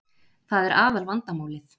Það er aðal vandamálið